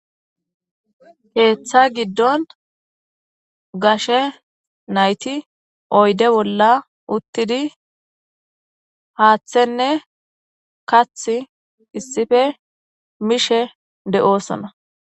keeththa giddon gashe nayti oyde bolla uttidi haaththenne kath issife mishe de7oosona